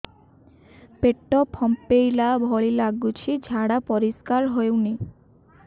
ପେଟ ଫମ୍ପେଇଲା ଭଳି ଲାଗୁଛି ଝାଡା ପରିସ୍କାର ହେଉନି